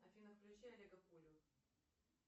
афина включи олега пулю